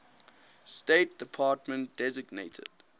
state department designated